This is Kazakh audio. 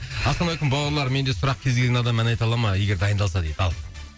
ассалаумағалейкум бауырлар менде сұрақ кез келген адаммен ән айта ала ма егер дайындалса дейді ал